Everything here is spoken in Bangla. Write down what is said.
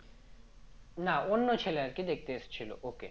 না অন্য ছেলে আর কি দেখতে এসেছিল ওকে